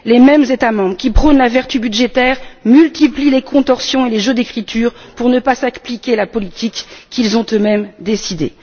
Les mêmes États membres qui prônent la vertu budgétaire multiplient les contorsions et les jeux d'écriture pour ne pas appliquer la politique qu'ils ont eux mêmes décidée!